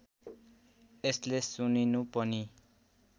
यसले सुनिनु पनि